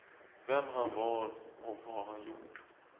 Vem han var och vad han gjort.